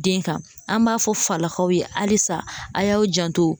Den kan, an b'a fɔ falakaw ye halisa a y'aw janto.